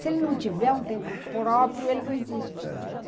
Se ele não tiver um tempo próprio, ele não existe.